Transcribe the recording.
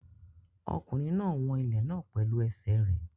Ọkùnrin náà ń wọn ilẹ̀ náà pẹ̀lú ẹsẹ̀ rẹ̀.